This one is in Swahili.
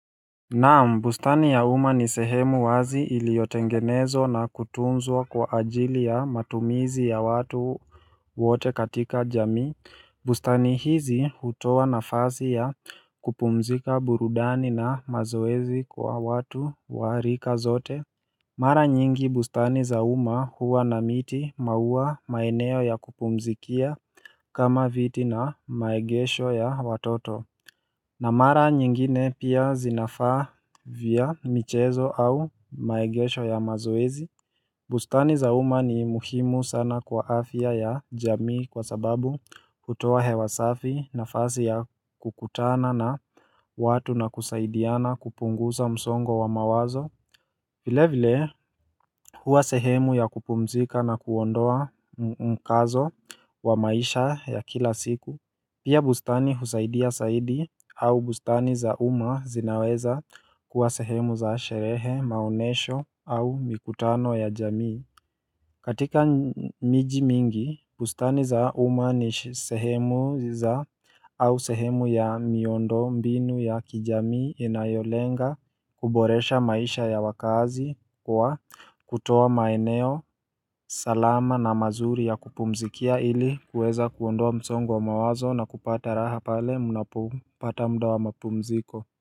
Na ambustani ya uma ni sehemu wazi iliyotengenezwa na kutunzwa kwa ajili ya matumizi ya watu wote katika jamii bustani hizi hutoa na fasi ya kupumzika burudani na mazoezi kwa watu warika zote Mara nyingi bustani za uma huwa na miti maua maeneo ya kupumzikia kama viti na maegesho ya watoto Namara nyingine pia zinafaa vya michezo au maegesho ya mazoezi. Bustani zauma ni muhimu sana kwa afya ya jamii kwa sababu hutuoa hewasafi na fasi ya kukutana na watu na kusaidiana kupungusa msongo wa mawazo. Vile vile huwa sehemu ya kupumzika na kuondoa mkazo wa maisha ya kila siku. Pia bustani husaidia saidi au bustani za uma zinaweza kuwa sehemu za sherehe, maonesho au mikutano ya jamii katika miji mingi bustani za umani sehemu za au sehemu ya miondo mbinu ya kijami inayolenga kuboresha maisha ya wakaazi kwa kutoa maeneo salama na mazuri ya kupumzikia ili kuweza kuondoa msongo wa mawazo na kupata raha pale mnapopata muda wa mapumziko.